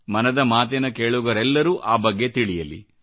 ಮನದ ಮಾತಿನ ಕೇಳುಗರೆಲ್ಲರೂ ಆ ಬಗ್ಗೆ ತಿಳಿಯಲಿ